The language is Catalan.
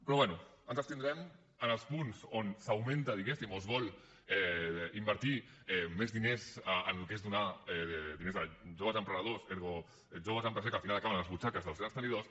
però bé ens abstindrem en els punts on s’augmenta diguéssim o es vol invertir més diners en el que és donar diners a joves emprenedors ergo joves empresaris que al final acaben a les butxaques dels grans tenidors